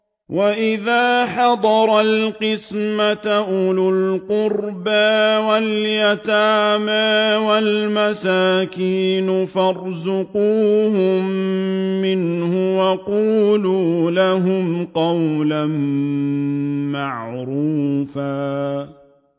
وَإِذَا حَضَرَ الْقِسْمَةَ أُولُو الْقُرْبَىٰ وَالْيَتَامَىٰ وَالْمَسَاكِينُ فَارْزُقُوهُم مِّنْهُ وَقُولُوا لَهُمْ قَوْلًا مَّعْرُوفًا